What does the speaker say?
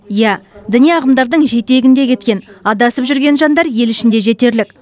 иә діни ағымдардың жетегінде кеткен адасып жүрген жандар ел ішінде жетерлік